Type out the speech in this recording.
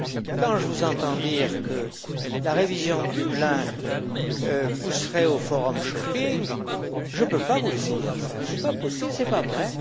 Quand je vous entends dire que la révision de Dublin pousserait au forum shopping, je ne peux pas vous laisser dire ça, ce n'est pas possible, ce n'est pas vrai.